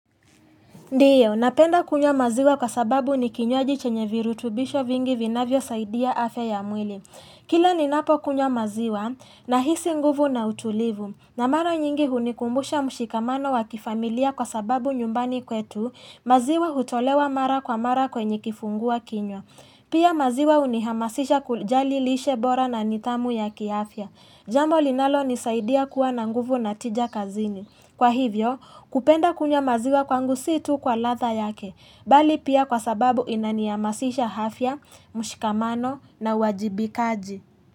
Ndiyo, napenda kunywa maziwa kwa sababu ni kinywaji chenye virutubisho vingi vinavyosaidia afya ya mwili. Kila ninapokunywa maziwa nahisi nguvu na utulivu. Na mara nyingi hunikumbusha mshikamano wa kifamilia kwa sababu nyumbani kwetu, maziwa hutolewa mara kwa mara kwenye kifungua kinywa. Pia maziwa hunihamasisha kujali lishe bora na nidhamu ya kiafya. Jambo linalonisaidia kuwa na nguvu na tija kazini. Kwa hivyo, kupenda kunywa maziwa kwangu si tu kwa ladha yake, bali pia kwa sababu inanihamasisha afya, mshikamano na wajibikaji.